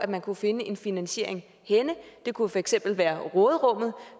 man kunne finde en finansiering det kunne for eksempel være råderummet